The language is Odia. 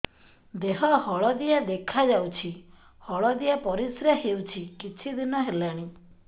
ଦେହ ହଳଦିଆ ଦେଖାଯାଉଛି ହଳଦିଆ ପରିଶ୍ରା ହେଉଛି କିଛିଦିନ ହେଲାଣି